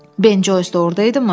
Ben Joys da ordayıdımı?”